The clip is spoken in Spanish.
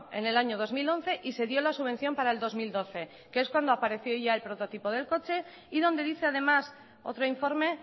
en el año dos mil once y se dio la subvención para el dos mil doce que es cuando apareció ya el prototipo del coche y donde dice además otro informe